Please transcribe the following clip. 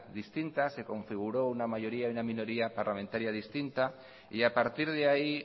distintas se configuró una mayoría y una minoría parlamentaria distinta y a partir de ahí